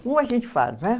Como a gente faz, né?